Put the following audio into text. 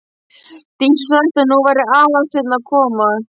Dísu sagt að nú væri Aðalsteinn að koma.